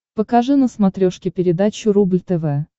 покажи на смотрешке передачу рубль тв